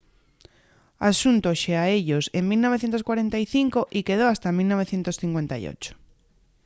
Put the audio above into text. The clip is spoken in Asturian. axuntóse a ellos en 1945 y quedó hasta 1958